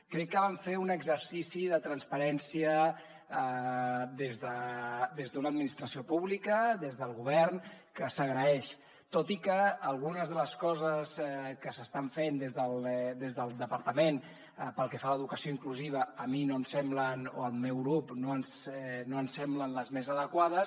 crec que van fer un exercici de transparència des d’una administració pública des del govern que s’agraeix tot i que algunes de les coses que s’estan fent des del departament pel que fa a l’educació inclusiva a mi no em semblen o al meu grup no ens no ens semblen les més adequades